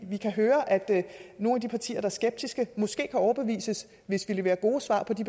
vi kan høre at nogle af de partier der er skeptiske måske kan overbevises hvis vi leverer gode svar på de